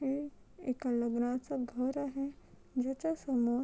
हे एका लग्नाच घर आहे ज्याच्या समोर --